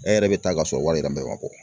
E yɛrɛ bɛ taa ka sɔrɔ wari yɛrɛ bɛɛ ma bɔ